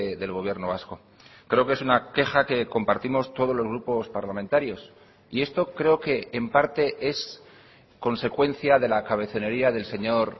del gobierno vasco creo que es una queja que compartimos todos los grupos parlamentarios y esto creo que en parte es consecuencia de la cabezonería del señor